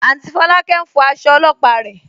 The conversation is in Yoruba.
Áùntý Fọ̀lákẹ̀ n fọ̀ àṣọ̀ ọ̀lọ́pà rẹ.